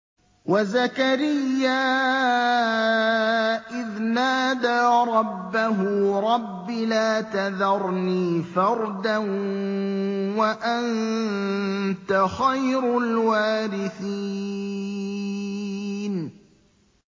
وَزَكَرِيَّا إِذْ نَادَىٰ رَبَّهُ رَبِّ لَا تَذَرْنِي فَرْدًا وَأَنتَ خَيْرُ الْوَارِثِينَ